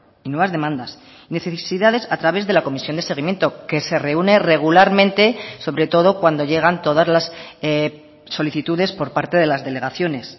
y nuevas demandas necesidades a través de la comisión de seguimiento que se reúne regularmente sobre todo cuando llegan todas las solicitudes por parte de las delegaciones